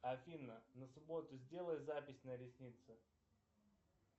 афина на субботу сделай запись на ресницы